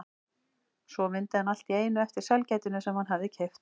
Svo mundi hann allt í einu eftir sælgætinu sem hann hafði keypt.